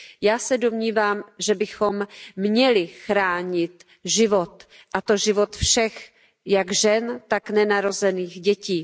Já se domnívám, že bychom měli chránit život, a to život všech, jak žen, tak nenarozených dětí.